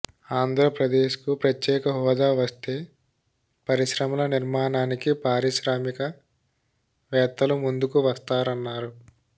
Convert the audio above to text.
ఆంధ్రప్రదేశ్కు ప్రత్యేక హోదా వస్తే పరిశ్రమల నిర్మాణానికి పారిశ్రామిక వేత్తలు ముందుకు వస్తారన్నారు